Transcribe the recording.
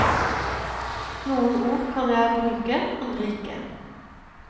Noen ord kan jeg bruke, andre ikke.